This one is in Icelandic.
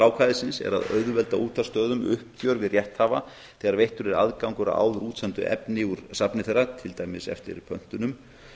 ákvæðisins er að auðvelda útvarpsstöðvum uppgjör við rétthafa þegar veittur er aðgangur að áður útsendu efni úr safni þeirra til dæmis eftir pöntunum